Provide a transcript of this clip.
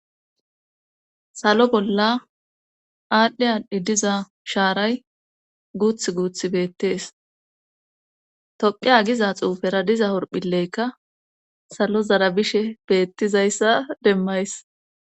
salo bolla aadhdhe hanhdhi diza shaaray guuth guuth beettees toqea giza xuufera diza horphileykka salo zarabishe beettizayssa demmays